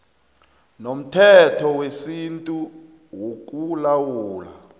nomthetho wesintu wokulawula